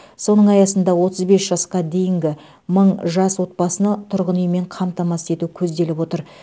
соның аясында отыз бес жасқа дейінгі мың жас отбасыны тұрғын үймен қамтамасыз ету көзделіп отыр